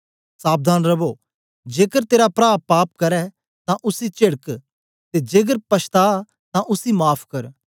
सावधान रवो जेकर तेरा प्रा पाप करै तां उसी चेडक ते जेकर पछता तां उसी माफ़ कर